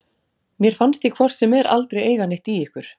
Mér fannst ég hvort sem er aldrei eiga neitt í ykkur.